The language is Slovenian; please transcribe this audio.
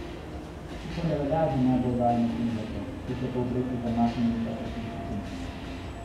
To pa ne velja za najbolj oddaljene primerke, ki so v povprečju zamaknjeni za osem stopinj.